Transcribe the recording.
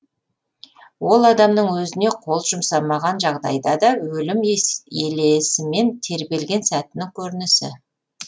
ол адамның өзіне қол жұмсамаған жағдайда да өлім елесімен тербелген сәтінің көрінісі